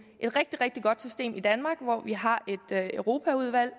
rigtig rigtig godt system i danmark hvor vi har et europaudvalg